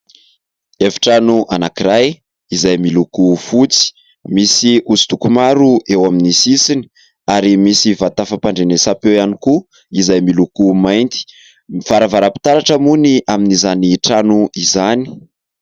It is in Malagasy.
Efitrano anankiray izay miloko fotsy misy hosodoko maro eo amin'ny sisiny ary misy vata fapandrenesa-peo ihany koa izay miloko mainty ; varavara-pitaratra moa ny amin'izany trano izany.